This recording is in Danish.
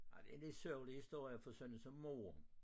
Ej det en lidt sørgelig historie for sådan én som mor